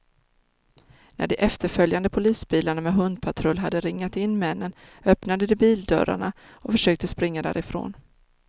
När de efterföljande polisbilarna med hundpatrull hade ringat in männen, öppnade de bildörrarna och försökte springa därifrån.